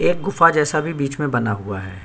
एक गुफा जैसा भी बीच में बना हुआ है।